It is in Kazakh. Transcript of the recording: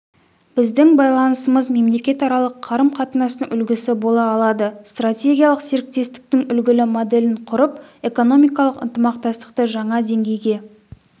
біздің байланысымыз мемлекетаралық қарым-қатынастың үлгісі бола алады стратегиялық серіктестіктің үлгілі моделін құрып экономикалық ынтымақтастықты жаңа деңгейге